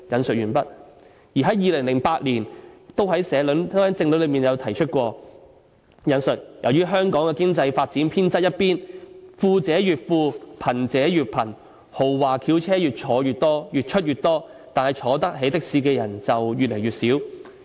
"在2008年的政論內提過："由於香港的經濟發展偏側一邊，富者越富，貧者越貧，豪華轎車越出越多，但坐得起的士的人就越來越少。